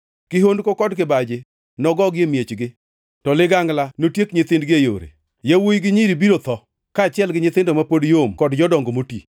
Kihondko kod kibaji nogogi e miechgi; to liganglana notiek nyithindgi e yore. Yawuowi gi nyiri biro tho, kaachiel gi nyithindo ma pod yom kod jodongo moti.